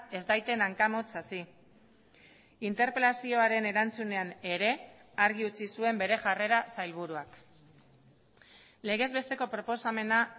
ez daiten hanka motz hasi interpelazioaren erantzunean ere argi utzi zuen bere jarrera sailburuak legezbesteko proposamena